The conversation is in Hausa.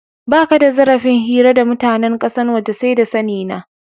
Baka da zarafin hira da mutanen kasan waje, sai da sani na.